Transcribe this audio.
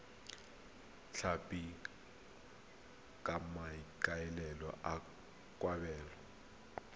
tlhapi ka maikaelelo a kgwebo